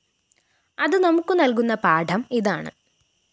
അത് നമുക്ക് നല്‍കുന്ന പാഠം ഇതാണ്